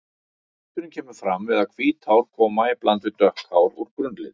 Liturinn kemur fram við að hvít hár koma í bland við dökk hár úr grunnlit.